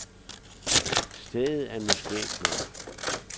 Stedet er nu skægt nok.